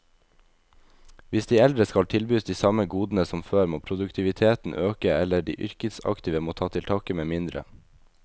Hvis de eldre skal tilbys de samme godene som før, må produktiviteten øke, eller de yrkesaktive må ta til takke med mindre.